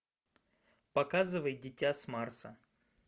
показывай дитя с марса